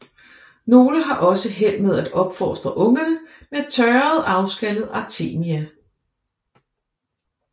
Nogle har også held med at opfostre ungerne med tørrede afskallede Artemia